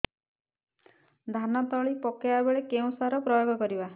ଧାନ ତଳି ପକାଇବା ବେଳେ କେଉଁ ସାର ପ୍ରୟୋଗ କରିବା